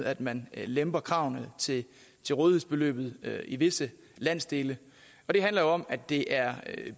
at man lemper kravene til til rådighedsbeløbet i visse landsdele og det handler om at det er